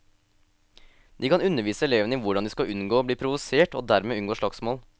De kan undervise elevene i hvordan de skal unngå å bli provosert og dermed unngå slagsmål.